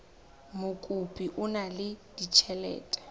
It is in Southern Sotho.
mokopi o na le ditjhelete